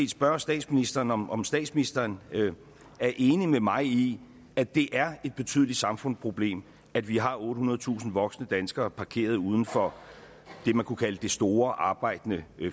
spørge statsministeren om om statsministeren er enig med mig i at det er et betydeligt samfundsproblem at vi har ottehundredetusind voksne danskere parkeret uden for det man kunne kalde det store arbejdende